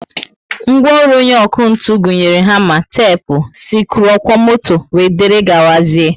Ngwaọrụ onye ọkụ ntụ gụnyere hama, tepu, sikruuokwomoto wdgz